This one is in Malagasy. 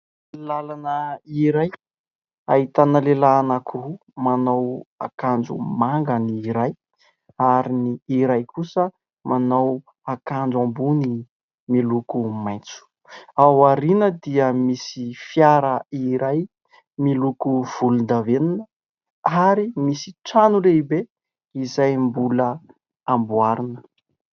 Làlana iray, ahitana lehilahy anankiroa. Manao akanjo manga ny iray ary ny iray kosa manao akanjo ambony miloko maitso. Ao aoriana dia misy fiara iray miloko volondavenona ; ary misy trano lehibe izay mbola hamboarina.